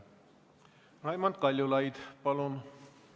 Raimond Kaljulaid, palun!